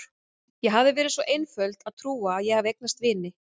Ég hafði verið svo einföld að trúa að ég hefði eignast vini.